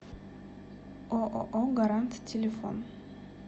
ооо гарант телефон